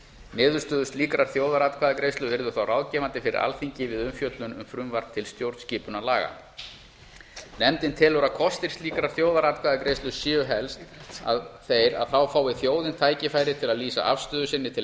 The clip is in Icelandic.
niðurstöður slíkrar þjóðaratkvæðagreiðslu yrðu þá ráðgefandi fyrir alþingi við umfjöllun um frumvarp til stjórnarskipunarlaga nefndin telur að kostir slíkrar þjóðaratkvæðagreiðslu séu helst þeir að þá fái þjóðin tækifæri til að lýsa afstöðu sinni til